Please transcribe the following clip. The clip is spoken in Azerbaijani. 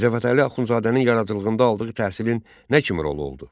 Mirzə Fətəli Axundzadənin yaradıcılığında aldığı təhsilin nə kimi rolu oldu?